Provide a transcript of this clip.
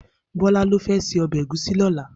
Bola ló fè sé òbè égúsì lòlá